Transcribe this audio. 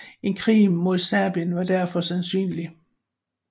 En krig mod Serbien var derfor sandsynlig